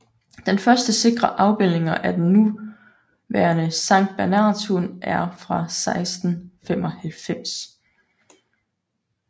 Den første sikre afbildninger af den nuværende sanktbernhardshund er fra 1695